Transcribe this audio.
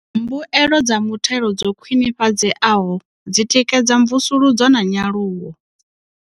Mbuelo dza muthelo dzo khwinifhadzeaho dzi tikedza mvusuludzo na nyaluwo.